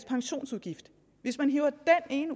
pensionsudgiften jo er en